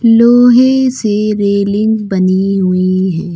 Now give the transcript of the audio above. लोहे से रेलिंग बनी हुई है।